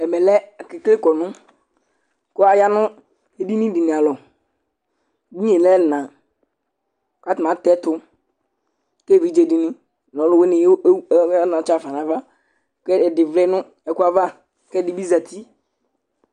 Ɛmɛ lɛ akekele kɔnʋ kʋ aya nʋ edini dɩnɩ alɔ Edini yɛ lɛ ɛna kʋ atanɩ atɛ ɛtʋ kʋ evidze dɩnɩ nʋ ɔlʋwɩnɩ o o ayɔ anatsɛ ɣa fa nʋ ava kʋ ɛdɩ vlɛ nʋ ɛkʋ ava kʋ ɛdɩ bɩ zati